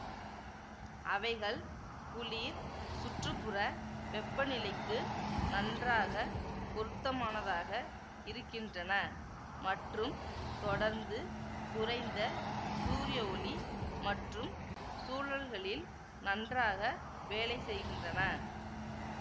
அவைகள் குளிர் சுற்று புற வெப்பநிலைக்கு நன்றாக பொருத்தமானதாக இருக்கின்றன மற்றும் தொடர்ந்து குறைந்த சூரிய ஒளி மற்றும் சூழல்களில் நன்றாக வேலை செய்கின்றன